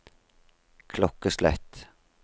klokkeslett